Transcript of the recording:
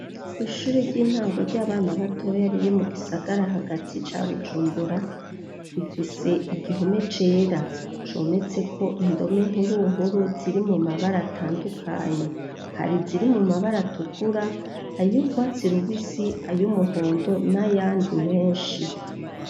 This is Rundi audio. Kw'ishure ry'intango ry'abana batoya riri mu gisagara hagati ca Bujumbura, rifise igihome cera cometseko indome nkuru w nkuru ziri mu mabara atandukanye : hari iziri mu mabara atukura, ay'urwatsi rubisi, ay'umuhondo n'ayandi menshi.